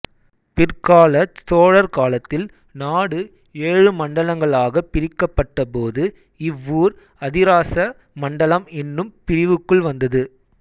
பிற்காலச் சோழர் காலத்தில் நாடு ஏழு மண்டலங்களாகப் பிரிக்கப்பட்டபோது இவ்வூர் அதிராச மண்டலம் என்னும் பிரிவுக்குள் வந்தது